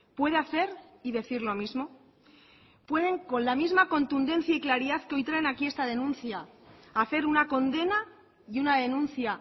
puede hacer y decir lo mismo pueden con la misma contundencia y claridad que hoy traen aquí esta denuncia hacer una condena y una denuncia